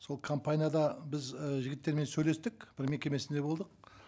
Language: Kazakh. сол компанияда біз і жігіттермен сөйлестік бір мекемесінде болдық